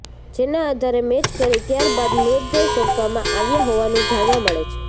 જેના આધારે મેચ કરી ત્યાર બાદ મૃતદેહ સોંપવામાં આવ્યાં હોવાનું જાણવા મળે છે